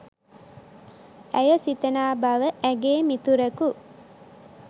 ඇය සිතනා බව ඇගේ මිතුරකු